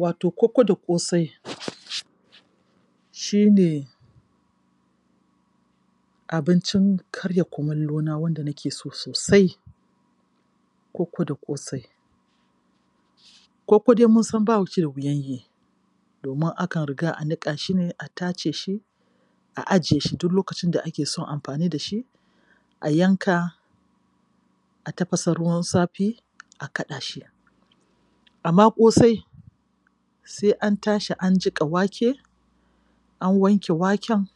Wato kokko da ƙosai shi ne abincin karya kumallona wanda nake so sosai--kokko da ƙosai. Kokko dai mun san ba shi da wuyan yi domin akan riga a niƙa shi ne, a tace shi, a jiye shi duk lokacin da ake so a yi amfani da shi a yanka a tafasa ruwan safi, kaɗa shi. Amma ƙosai sai an tashi an jiƙa wake, an wanke waken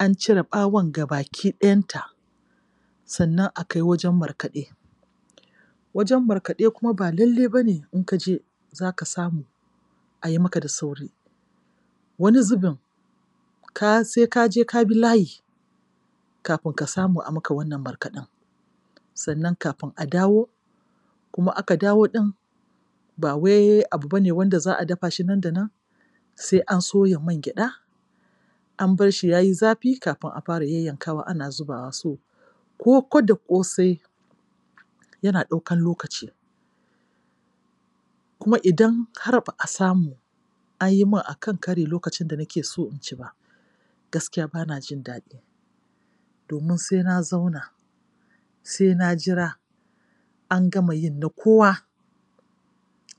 an cire ɓawon ga baki ɗayanta, sannan a kai wurin markaɗe. Wajen markaɗe kuma ba lallai ba ne in ka je za ka samu a yi maka da sauri. Wani zubin sai ka je ka bi layi kafin ka samu a maka wannan markaɗen. Sannan kafin a dawo kuma ka dawo ɗin ba wai abu ba ne wanda za a dafa shi nan da nan. sai an soya mangyaɗa, an bar shi ya yi zafi kafin a fara yayyankawa ana zubawa. So, kokko da ƙosai yana ɗaukan lokaci Kuma idan har ba a samu an yi min a kan kari lokacin da nake so in ci ba, gaskiya ba na jin daɗi. domin sai na zauna, sai na jira, an gama yin na kowa,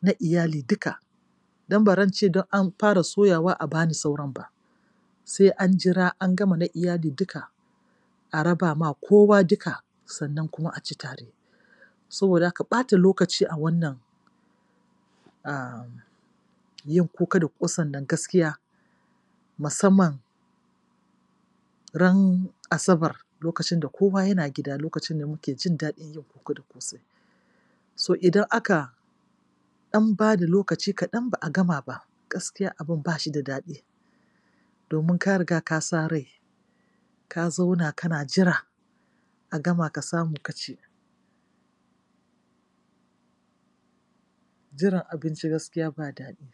na iyali duka don baran ce don an fara soyawa a ba ni sauran ba, sai an jira an gama na iyali duka a raba ma kowa duka sannan kuma a ci tare. Saboda haka, ɓata lokaci a wannan um yin kokko da ƙosan nan gaskiya musamman ran Asabar lokacin da kowa yana gida, lokacin da muke jin daɗin yin kokko da ƙosai. So idan aka An ba da lokaci kaɗan ba a gama ba gaskiya abin ba shi da daɗi domin ka riga ka sa rai, ka zauna kana jira. a gama ka samu ka ci. Jiran abinci gaskiya ba daɗi.